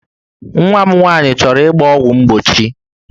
Nwa m nwaanyị chọrọ ịgba ọgwụ mgbochi